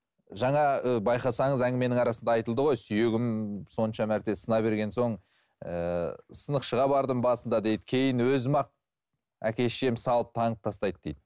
жаңа і байқасаңыз әңгіменің арасында айтылды ғой сүйегім сонша мәрте сына берген соң ііі сынықшыға бардым басында дейді кейін өзім ақ әке шешем салып таңып тастайды дейді